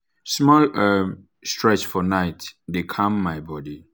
small um stretch for night dey calm my body.